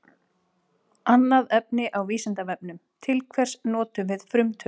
Annað efni á Vísindavefnum: Til hvers notum við frumtölur?